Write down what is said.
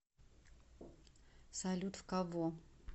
салют в кого